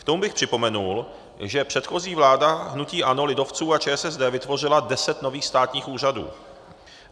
K tomu bych připomenul, že předchozí vláda hnutí ANO, lidovců a ČSSD vytvořila deset nových státních úřadů.